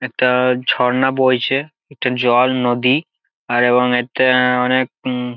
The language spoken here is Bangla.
একটা-আ ঝর্ণা বইছে এটা জল নদী। আর এবং এটা এতে অনেক উম --